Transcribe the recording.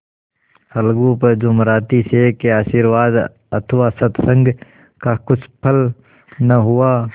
अलगू पर जुमराती शेख के आशीर्वाद अथवा सत्संग का कुछ फल न हुआ